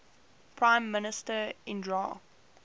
prime minister indira